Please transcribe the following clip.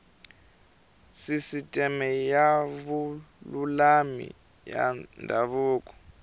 sisiteme ya vululami ya ndhavuko